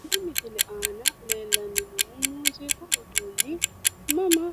Tenne misile aana leellanni noohu muuziiqu uduunni mama